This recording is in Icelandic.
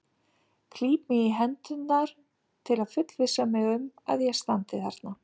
Klíp mig í hendurnar til að fullvissa mig um að ég standi þarna.